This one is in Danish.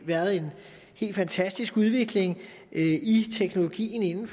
været en helt fantastisk udvikling i teknologien